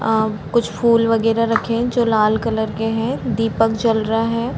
अ कुछ फूल वगेरह रखें हैं जो लाल कलर के हैं दीपक जल रहा है।